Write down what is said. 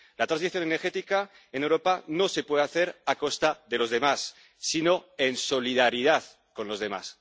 La transición energética en Europa no se puede hacer a costa de los demás, sino en solidaridad con los demás.